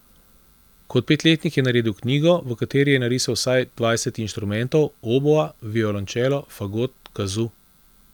Kot petletnik je naredil knjigo, v kateri je narisal vsaj dvajset inštrumentov, oboa, violončelo, fagot, kazu ...